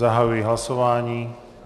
Zahajuji hlasování.